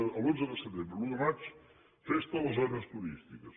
de l’onze de setembre a l’un de maig festa a les zones turístiques